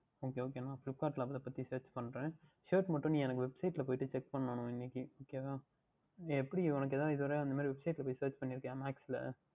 Ok Ok நான் Flipkart யில் அதை பார்த்து Search பண்ணுகிறேன் Shirt மற்றும் நீ எனக்கு Website யில் சென்று Check பண்ணு இன்றைக்கு Ok வா எங்க அப்படி உனக்கு எதாவுது அந்தமாதிரி Website யில் போய் Check பண்ணி இருக்கின்றாயா Max யில்